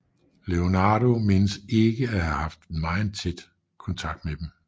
Leonardo menes ikke at have haft megen kontakt med dem